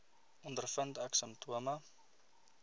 ondervind ek simptome